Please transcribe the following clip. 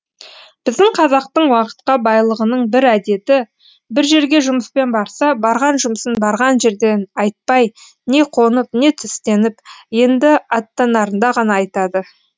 біздің қазақтың уақытқа байлығының бір әдеті бір жерге жұмыспен барса барған жұмысын барған жерден айтпай не қонып не түстеніп енді аттанарында ғана айтады